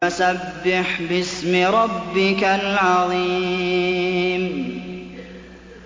فَسَبِّحْ بِاسْمِ رَبِّكَ الْعَظِيمِ